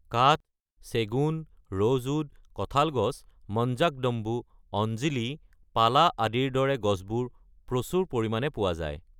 কাঠ, চেগুন, ৰ'জউড, কঠাল গছ, মঞ্জাকদম্বু, অঞ্জিলি, পালা আদিৰ দৰে গছবোৰ প্ৰচুৰ পৰিমাণে পোৱা যায়।